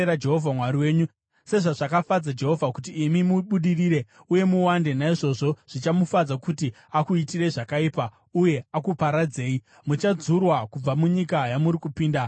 Sezvazvakafadza Jehovha kuti imi mubudirire uye muwande, naizvozvo zvichamufadza kuti akuitirei zvakaipa uye akuparadzei. Muchadzurwa kubva munyika yamuri kupinda kuti ive yenyu.